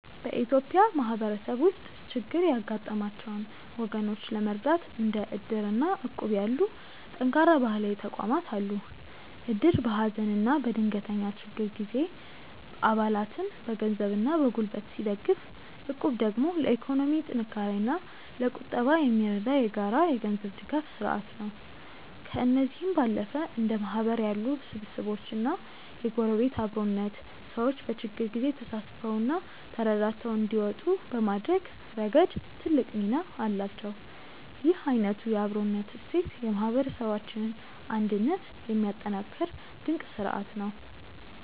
በኢትዮጵያ ማህበረሰብ ውስጥ ችግር ያጋጠማቸውን ወገኖች ለመርዳት እንደ እድር እና እቁብ ያሉ ጠንካራ ባህላዊ ተቋማት አሉ። እድር በሀዘንና በድንገተኛ ችግር ጊዜ አባላትን በገንዘብና በጉልበት ሲደግፍ፣ እቁብ ደግሞ ለኢኮኖሚ ጥንካሬና ለቁጠባ የሚረዳ የጋራ የገንዘብ ድጋፍ ስርአት ነው። ከእነዚህም ባለፈ እንደ ማህበር ያሉ ስብስቦችና የጎረቤት አብሮነት፣ ሰዎች በችግር ጊዜ ተሳስበውና ተረዳድተው እንዲወጡ በማድረግ ረገድ ትልቅ ሚና አላቸው። ይህ አይነቱ የአብሮነት እሴት የማህበረሰባችንን አንድነት የሚያጠናክር ድንቅ ስርአት ነው።